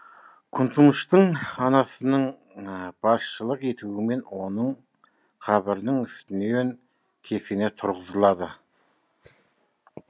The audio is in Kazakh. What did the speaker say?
күнтумыштың анасының басшылық етуімен оның қабірінің үстінен кесене тұрғызылады